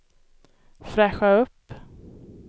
fräscha upp